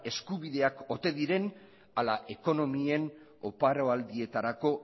eskubideak ote diren ala ekonomien oparo aldietarako